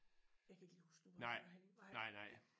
Jeg kan ikke lige huske hvor det var henne nej